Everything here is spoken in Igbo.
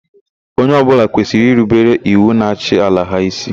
Onye ọbụla kwesịrị irubere iwu na-achị ala ha ísí.